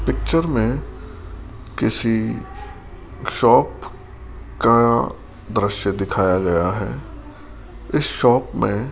picture में किसी shop का दृश्य दिखाया गया है इस शॉप में --